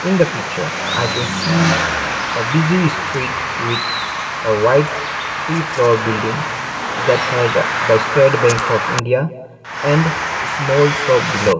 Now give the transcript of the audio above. in the picture i can see a busy street with a white three floor buildimg that has the state bank of india and a small shop below.